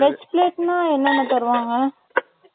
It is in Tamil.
Veg plate ன்னா, என்னென்ன தருவாங்க